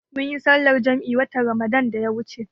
Munyi sallar jam'i watan Ramadan da ya wuce